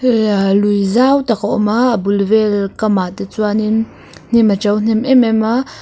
lui zau tak a awm a a bul vel kamah te chuanin hnim a to hnem em em a.